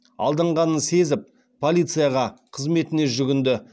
алданғанын сезіп полицияға қызметіне жүгінді